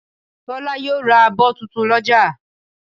Tọ́lá yóò ra abọ́ tuntun lọ́jà